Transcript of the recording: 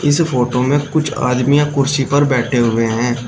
इस फोटो में कुछ आदमियां कुर्सी पर बैठे हुए हैं।